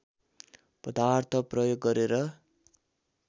पदार्थ प्रयोग गरेर